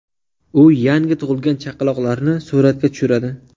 U yangi tug‘ilgan chaqaloqlarni suratga tushiradi.